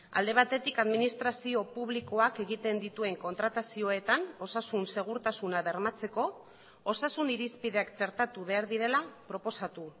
alde batetik administrazio publikoak egiten dituen kontratazioetan osasun segurtasuna bermatzeko osasun irizpideak txertatu behar direla proposatu